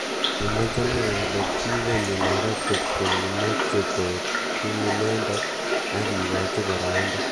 Kimwa jalango kole kingonyo nairobi kokimeche koek ku inendet ak kikochi boroindo.